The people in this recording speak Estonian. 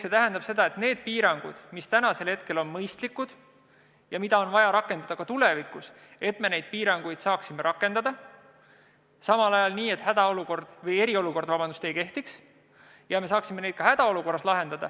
See tähendab seda, et neid piiranguid, mis täna on mõistlikud ja mida on vaja rakendada tulevikuski, saaksime me rakendada ka ajal, kui eriolukord ei kehti, ning lahendada vastavaid probleeme ka hädaolukorras.